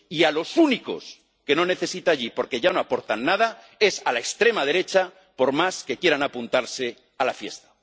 Y a los únicos que no necesita allí, porque yo no aportan nada, es a la extrema derecha, por más que quieran apuntarse a la fiesta.